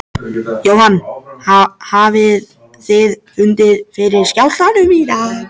Jóhann hafið þið fundið fyrir skjálftum í dag?